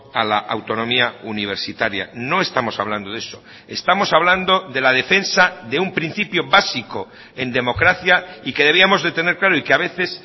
a la autonomía universitaria no estamos hablando de eso estamos hablando de la defensa de un principio básico en democracia y que debíamos de tener claro y que a veces